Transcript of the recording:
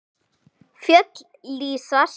Fjöll lýsast.